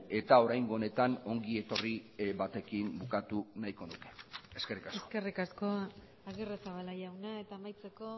eta oraingo honetan ongi etorri batekin bukatu nahiko nuke eskerrik asko eskerrik asko agirrezabala jauna eta amaitzeko